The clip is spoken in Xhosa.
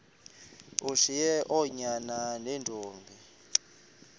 ushiye oonyana neentombi